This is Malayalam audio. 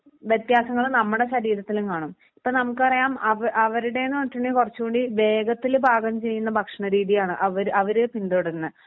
വ്യത്യാസങ്ങള് നമ്മുടെ ശരീരത്തിലും കാണും. ഇപ്പോ നമുക്കറിയാം അവ അവരുടെന്ന് പറഞ്ഞിട്ടുണ്ടെങ്കിൽ കുറച്ചും കൂടി വേഗത്തില് ഭാഗം ചെയ്യുന്ന ഭക്ഷണ രീതിയാണ്. അവര് അവര് പിന്തുടരുന്നെ